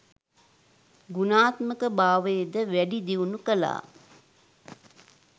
ගුණාත්මක භාවයද වැඩි දියුණු කළා.